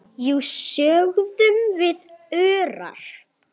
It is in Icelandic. Jú, sögðum við örar.